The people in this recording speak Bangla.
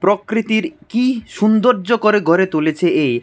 প্রকৃতির কি সৌন্দর্য করে গড়ে তুলেছে এ।